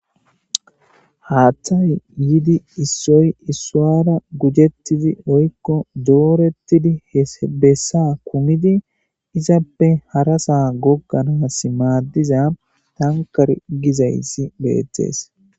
haaththay yiidi issoy issowara gujettizi woykko doorettidi he bessa kumidi izappe harasaa gogganas maaddiza tankare gizayssi beettees